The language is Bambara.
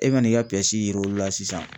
E man'i ka piyɛsi yir'olu la sisan